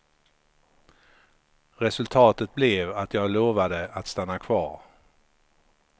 Resultatet blev att jag lovade att stanna kvar.